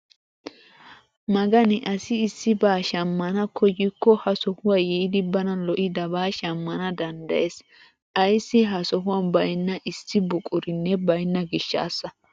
Magani asi issibaa shammana koyikko ha sohuwaa yiidi bana lo"idabaa shammana danddayees! ayssi ha sohuwaan baynna issi buqurinne bayna gishshasa!